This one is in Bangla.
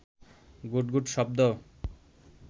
গুট গুট শব্দ